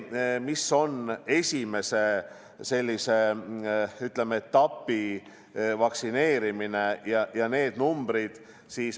Mis on esimese etapi vaktsineerimise numbrid?